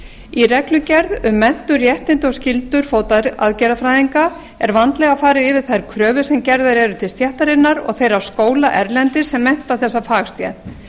í reglugerð um menntun réttindi og skyldur fótaaðgerðafræðinga er vandlega farið yfir þær kröfur sem gerðar eru til stéttarinnar og þeirra skóla erlendis sem mennta þessa fagstétt